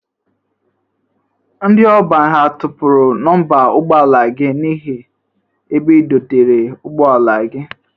Ndị ọban ha tọpụrụ nọmba ụgbọ ala gị n'ihe ebe idotere ụgbọ ala gị?